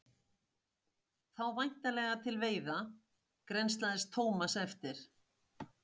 Þá væntanlega til veiða? grennslaðist Thomas eftir.